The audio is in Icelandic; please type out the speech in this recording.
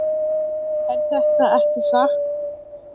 Er þetta ekki satt?